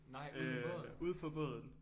Nej ude på båden?